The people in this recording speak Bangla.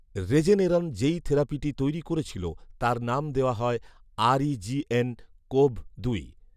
রেজেনেরন যেই থেরাপিটি তৈরি করছিল তার নাম দেয়া হয় ‘আরইজিএন কোভ দুই’